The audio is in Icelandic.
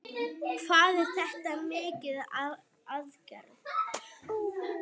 Hvað er þetta mikil aðgerð?